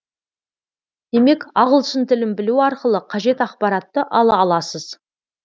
демек ағылшын тілін білу арқылы қажет ақпаратты ала аласыз